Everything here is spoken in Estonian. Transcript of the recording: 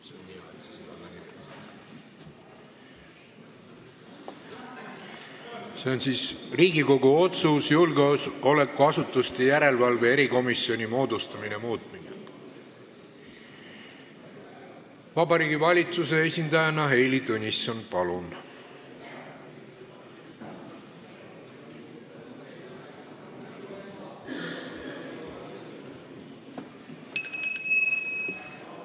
See on siis Riigikogu otsuse "Riigikogu otsuse "Julgeolekuasutuste järelevalve erikomisjoni moodustamine" muutmine" eelnõu Vabariigi Valitsuse esindajana Heili Tõnisson, palun!